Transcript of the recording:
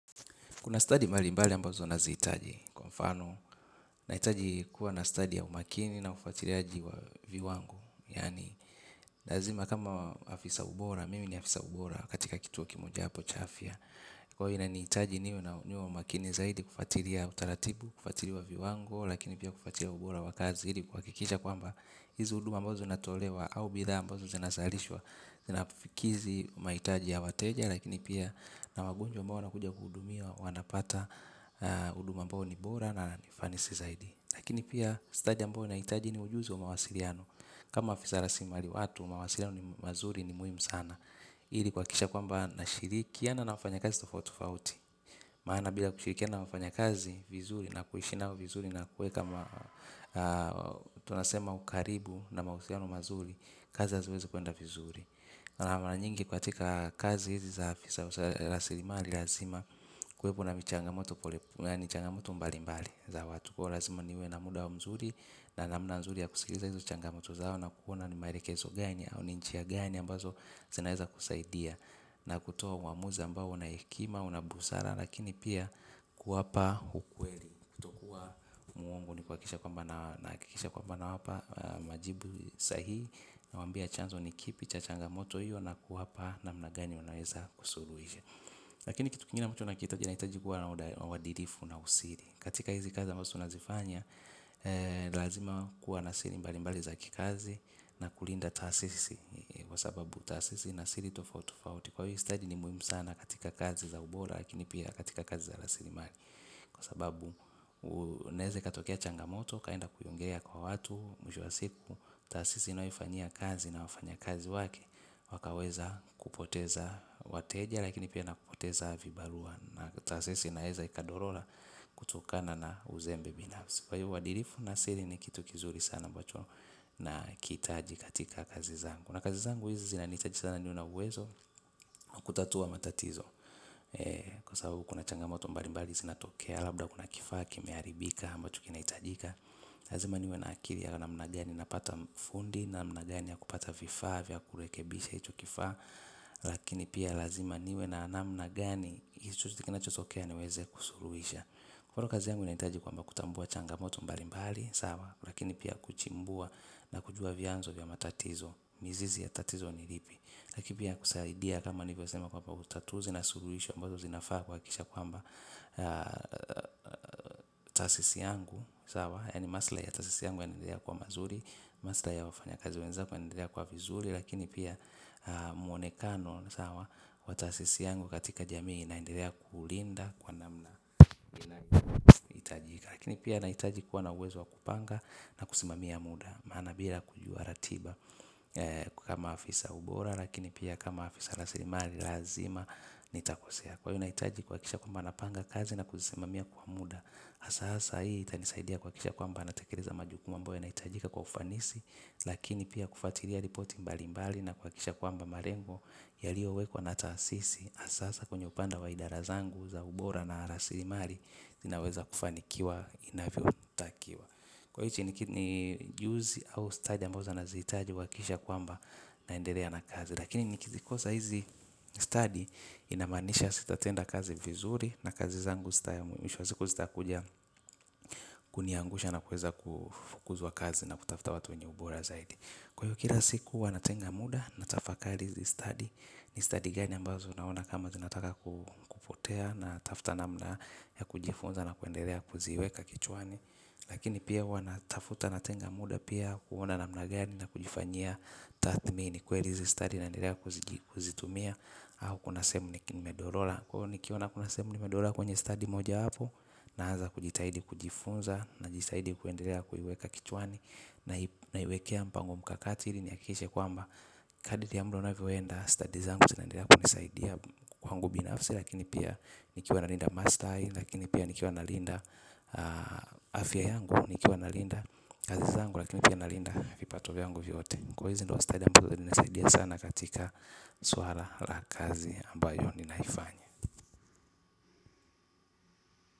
Kuna study malimbali ambazo na zihitaji kwa mfano na hitaji kuwa na study ya umaakini na ufuatiriaji wa viwango. Yani lazima kama afisa wa ubora, mimi ni afisa wa ubora katika kituo kimoja hapo cha afya. Kwa hivyo inanihitaji niwe na umaakini zaidi kufuatilia utaratibu, kufuatilia viwango, lakini pia kufatilia ubora wa kazi, ili kuhakikisha kwamba hizi huduma ambazo zinatolewa au bidhaa ambazo zinazalishwa, zinakidhi mahitaji ya wateja, lakini pia na wagonjwa ambao wana kuja kuhudumiwa. Wanapata huduma ambao ni bora na ni fanisi zaidi. Lakini pia stadi ambayo nahitaji ni ujuzi wa mawasiliano kama afisa rasilimali ya watu mawasiliano mazuri ni muhimu sana ili kuhakikisha ya kwamba nashirikiana na wafanyakazi tofauti tofauti. Maana bila kushirikiana na wafanyakazi vizuri na kuishi nao vizuri na kuwe kama tunasema ukaribu na mahusiano mazuri, kazi haziwezi kuenda vizuri. Na mara nyingi katika kazi hizi za afisa rasilimali lazima kuwepo na michangamoto pole yani changamoto mbali mbali za watu kwa hiyo lazima niwe na muda mzuri na namna nzuri ya kusikiza hizo changamoto zao na kuona maelekezo gani au ni njia gani ambazo zinaweza kusaidia. Na kutoa uamuzi ambao una hekima, una busara. Lakini pia kuwapa ukweli kutokua mwongo nikuhakikisha kwamba nahakikisha kwamba nawapa majibu sahihi, nawaambia chanzo ni kipi cha changamoto hiyo na kuwapa namna gani wanaweza kusuruhisha. Lakini kitu kingine ambacho nakitaja naitaji kua na uadilifu na usiri katika hizi kazi ambazo tunazifanya. Lazima kua na siri mbali mbali za kazi na kulinda taasisi kwa sababu taasisi ina siri tofauti tofauti kwa hvo stadi ni muhimu katika kazi za ubora lakini pia katika kazi za raslimali kwa sababu unaeze ikatokia changamoto ukaenda kuiongea kwa watu mwisho wa siku. Taasisi unaoifanyia kazi na wafanya kazi wake. Wakaweza kupoteza wateja. Lakini pia nakupoteza vibarua na tasisi inaeza ikadorora kutokana na uzembe binafsi kwa hivo uadilifu na siri ni kitu kizuri sana ambacho nakiitaji katika kazi zangu. Na kazi zangu hizi zinaniitaji sana niwe na uwezo wa kutatua matatizo, kwa sababu kuna changamoto mbalimbali zinatokea labda kuna kifaa kimeharibika ambacho kinahitajika. Lazima niwe na akili ya namna gani napata fundi namna gani ya kupata vifaa vya kurekebisha hicho kifaa. Lakini pia lazima niwe namna gani ili chochote kinachotokea niweze kusuruhisha. Mfano kazi yangu inahitaji kwamba kutambua changamoto mbali mbali. Sawa lakini pia kuchimbua na kujua vianzo vya matatizo. Mizizi ya tatizo ni lipi. Lakini pia kusaidia kama nilivosema kwamba utatuzi na suruhisha ambazo zinafaa kuhakikisha kwamba taasisi yangu sawa yaani maslahi ya taasisi yangu yanaendelea kuwa mazuri. Maslahi ya wafanya kazi wenzak yanaendelea kwa vizuri. Lakini pia muonekano wa taasisi yangu katika jamii inaendelea kulinda kwa namna itajika. Lakini pia naitajikuwa na uwezo wa kupanga na kusimamia muda. Maana bila kujua ratiba kama afisa ubora lakini pia kama afisa raslimali lazima nitakosea. Kwa hiyo naitaji kuhakikisha kwamba napanga kazi na kusimamia kwa muda hasa hasa hii itanisaidia kuhakikisha kwamba natelereza majukuma amboyo yanaitajika kwa ufanisi. Lakini pia kufuatilia ripoti mbali mbali na kuhakikisha kwamba malengo yaliowekwa na taasisi hasa hasa kwenye upande wa idara zangu za ubora na raslimali zinaweza kufanikiwa inavyotakiwa. Kwa hiti ni juzi au stadi ambao zanazitaji kuhakikisha kwamba naendelea na kazi. Lakini nikizikosa hizi stadi inamanisha sitatenda kazi vizuri na kazi zangu mwisho wa siku zitakuja kuniangusha na kuweza kufukuzwa kazi na kutafuta watu wenye ubora zaidi. Kwa hiyo kila siku huwa natenga muda natafakari hizi stadi. Ni stadi gani ambazo naona kama zinataka kupotea natafta namna ya kujifunza na kuendelea kuziweka kichwani. Lakini pia huwa natafuta natenga muda pia kuona namna gani na kujifanyia tathmini kweli hiizi stadi naendelea kuzitumia au kuna sehemu nimedorora kwa hiyo nikiona kuna sehemu nimedorora kwenye stadi mojawapo naanza kujitahidi kujifunza najisaidia kuendelea kuiweka kichwani. Naiwekea mkakati ili nihakishe kwamba, kadri ya muda unavyoenda stadi zangu zinendelea kunisaidia kwangu binafsi lakini pia nikiwa nalinda maslahi. Lakini pia nikiwa na linda afya yangu. Nikiwa nalinda kazi zangu lakini pia nalinda vipato yangu vyote. Kwa hiyo hizi ndo wa study ambazo zinnisaidia sana katika suala lakazi ambayo ninaifanya.